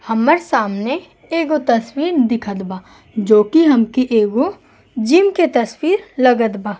हम्मर सामने एगो तस्वीन दिखत बा जोकि हमके एगो जिम के तस्वीर लगत बा।